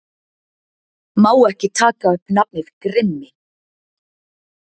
Má ekki taka upp nafnið Grimmi